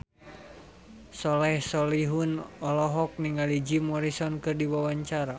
Soleh Solihun olohok ningali Jim Morrison keur diwawancara